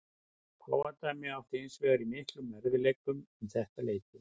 Páfadæmið átti hins vegar í miklum erfiðleikum um þetta leyti.